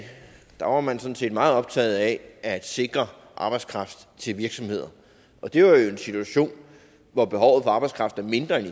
der var man sådan set meget optaget af at sikre arbejdskraft til virksomheder det var jo i en situation hvor behovet for arbejdskraft var mindre end